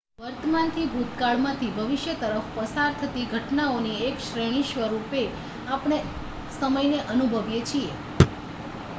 વર્તમાનથી ભૂતકાળમાંથી ભવિષ્ય તરફ પસાર થતી ઘટનાઓની એક શ્રેણી સ્વરૂપે આપણે સમયને અનુભવીએ છીએ